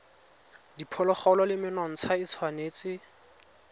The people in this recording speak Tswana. diphologolo le menontsha e tshwanetse